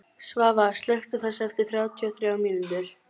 Svava, slökktu á þessu eftir þrjátíu og þrjár mínútur.